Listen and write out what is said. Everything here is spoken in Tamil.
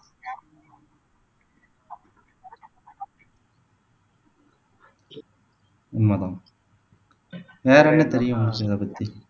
உண்மைதான் வேற என்ன தெரியும் இதை பத்தி